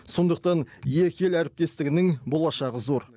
сондықтан екі ел әріптестігінің болашағы зор